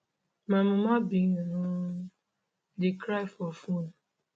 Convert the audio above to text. my muma bin um dey cry for phone